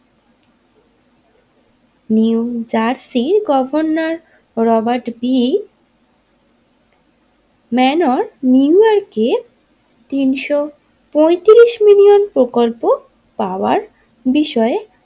New Jersey governor Robert B মানোর New ইয়র্কের তিনশো পঁয়তিরিশ মিলিয়ন প্রকল্প পাওয়ার বিষয়ে।